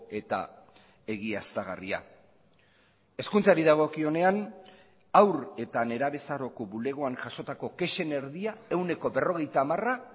eta egiaztagarria hezkuntzari dagokionean haur eta nerabezaroko bulegoan jasotako kexen erdia ehuneko berrogeita hamara